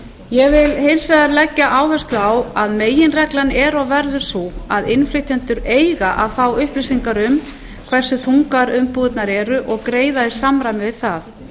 ég vil hins vegar leggja áherslu á að meginreglan er og verður sú að innflytjendur eiga að fá upplýsingar um hversu þungar umbúðirnar eru og greiða í samræmi við það